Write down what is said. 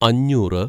അഞ്ഞൂറ്